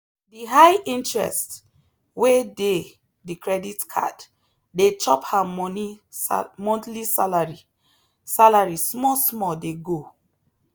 the high interest wey dey the credit card dey chop her money monthly salary salary small small dey go.